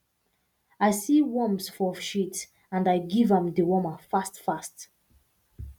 i see worms for shit and i give am dewormer fast fast